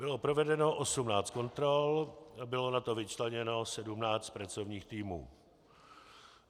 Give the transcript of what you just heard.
Bylo provedeno 18 kontrol, bylo na to vyčleněno 17 pracovních týmů.